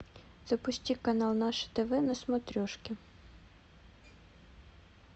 запусти канал наше тв на смотрешке